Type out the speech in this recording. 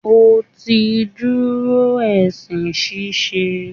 O ti dúró esin ṣíṣe.